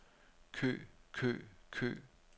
kø kø kø